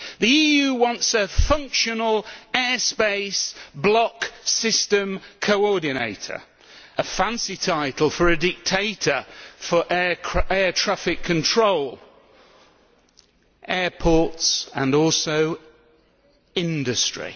The EU wants a functional air space block system coordinator a fancy title for a dictator ruling over air traffic control, airports and also industry.